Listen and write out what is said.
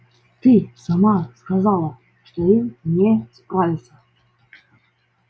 ты сама сказала что им не справиться